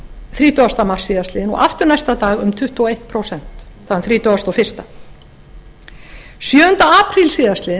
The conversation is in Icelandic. þrítugasta mars síðastliðinn og aftur næsta dag um tuttugu og eitt prósent þann þrítugasta og fyrstu sjöunda apríl